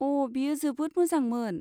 अ, बेयो जोबोद मोजांमोन!